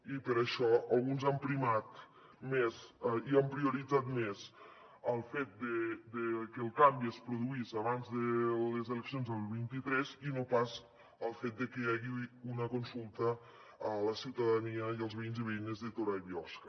i per això alguns han prioritzat més el fet de que el canvi es produís abans de les eleccions del vint tres i no pas el fet de que hi hagi una consulta a la ciutadania i als veïns i veïnes de torà i biosca